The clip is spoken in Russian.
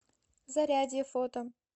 зарядье фото